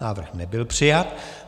Návrh nebyl přijat.